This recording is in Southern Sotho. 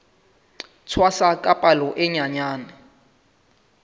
tshwasa ka palo e nyenyane